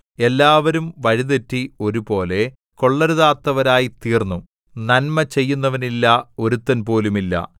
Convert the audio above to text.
എല്ലാവരും വഴിതെറ്റി ഒരുപോലെ കൊള്ളരുതാത്തവരായിത്തീർന്നു നന്മ ചെയ്യുന്നവനില്ല ഒരുത്തൻ പോലുമില്ല